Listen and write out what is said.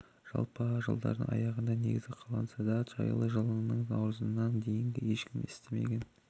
жалпы жылдардың аяғында негізі қаланса да жайлы жылының наурызына дейін ешкім естімеген